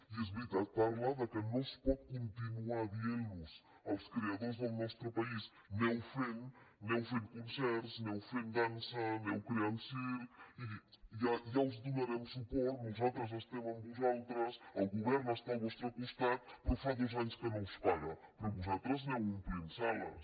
i és veritat parla que no es pot continuar dient als creadors del nostre país aneu fent aneu fent concerts aneu fent dansa aneu creant circs i ja us donarem suport nosaltres estem amb vosaltres el govern està al vostre costat però fa dos anys que no us paga però vosaltres aneu omplint sales